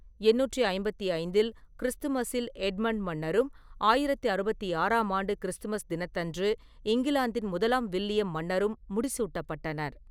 எண்ணூற்றி ஐம்பத்தி ஐந்தில் கிறிஸ்துமஸில் எட்மண்ட் மன்னரும், ஆயிரத்து அறுபத்தி ஆறாம் ஆண்டு கிறிஸ்துமஸ் தினத்தன்று இங்கிலாந்தின் முதலாம் வில்லியம் மன்னரும் முடிசூட்டப்பட்டனர்.